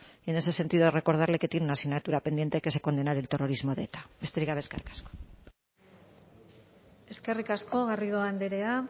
y en ese sentido he de recordarle que tienen una asignatura pendiente que es condenar el terrorismo de eta besterik gabe eskerrik asko eskerrik asko garrido andrea